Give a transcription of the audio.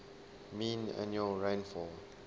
mean annual rainfall